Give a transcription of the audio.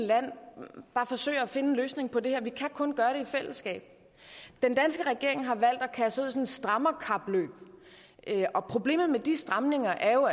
land bare forsøger at finde en løsning på det her for vi kan kun gøre det i fællesskab den danske regering har valgt at kaste sig et strammerkapløb og problemet med de stramninger er jo